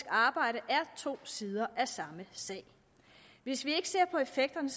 arbejde er to sider af samme sag hvis vi ikke ser på effekterne